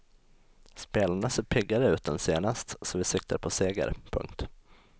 Spelarna ser piggare ut än senast så vi siktar på seger. punkt